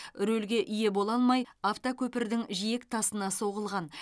рульге ие бола алмай автокөпірдің жиектасына соғылған